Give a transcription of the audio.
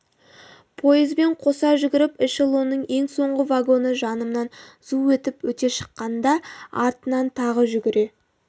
пойызбен қоса жүгіріп эшелонның ең соңғы вагоны жанымнан зу етіп өте шыққанда артынан тағы жүгіре